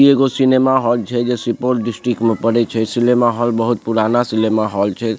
ई एगो cinema hall छे जे सुपौल डिस्ट्रिक्ट में पड़ई छे ई सिनेमा हॉल बहुत पुराना सिनेमा हॉल छे --